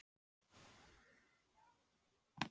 Sér að dömunni er um og ó, hvílík bjartsýni!